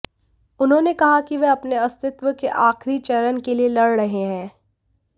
उन्होंने कहा कि वे अपने अस्तित्व के आखिरी चरण के लिए लड़ रहे हैं